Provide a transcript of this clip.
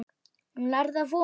Hún lærði af honum.